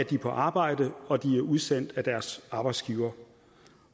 de på arbejde og de er udsendt af deres arbejdsgiver